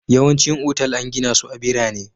Yawancin otal an gina su a birane